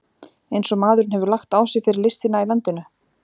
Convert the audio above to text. Eins og maðurinn hefur lagt á sig fyrir listina í landinu!